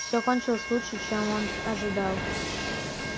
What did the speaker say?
все кончилось лучше чем он ожидал